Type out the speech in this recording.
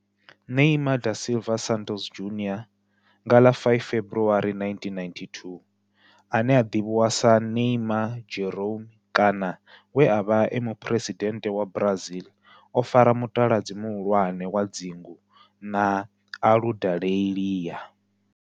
Neymar da Silva Santos Junior, nga ḽa 5 February 1992, ane a ḓivhiwa sa Ne'ymar' Jeromme kana we a vha e muphuresidennde wa Brazil o fara mutaladzi muhulwane wa dzingu na Aludalelia.